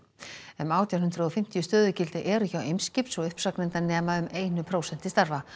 um átján hundruð og fimmtíu stöðugildi eru hjá Eimskipi svo uppsagnirnar nema um einu prósenti starfa